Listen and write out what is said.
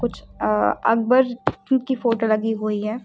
अह अकबर की की फोटो लगी हुई है।